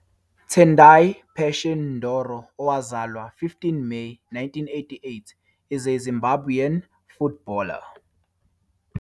Tendai Passion Ndoro, owazalwa 15 Meyi 1988, is a Zimbabwean footballer.